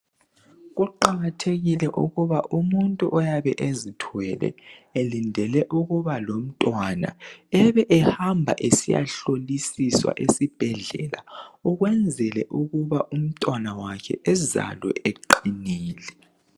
Kuqakathekile ukuba umuntu owabe ezithwele elindele ukuba lomntwana ebe ehamba esiyahlolisiswa esibhedlela ukwenzela ukuba umntwana wakhe ezalwe beqinile